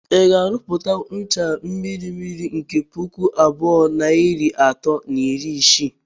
Ị ga - arụpụtanwụ ncha mmiri mmiri nke pụkụ abụọ nair atọ na iri isii